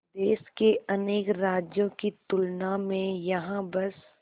देश के अनेक राज्यों की तुलना में यहाँ बस